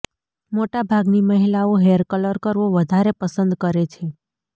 મોટાભાગની મહિલાઓ hair colour કરવો વધારે પસંદ કરે છે